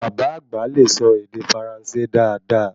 Bàbá àgbà le sọ ède Faransé dáadáa